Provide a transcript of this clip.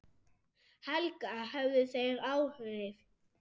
Helga: Höfðu þeir áhrif?